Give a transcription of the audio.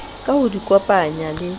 ka ho di kopanya le